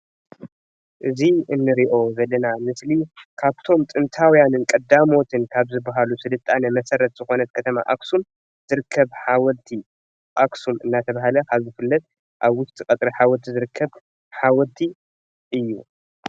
እዚ እንሪኦ ዘለና ምስሊ ካብቶም ጥንታውያንን ቀዳሞትን ካብ ዝበሃሉ ስልጣነ መሰረት ዝኾነት ከተማ ኣኽሱም ዝርከብ ሓወልቲ ኣክሱም እናተባህለ ኣብ ዝፍለጥ ኣብ ውሽጢ ቀፅሪ ሓወልቲ ዝርከብ ሓወልቲ እዩ።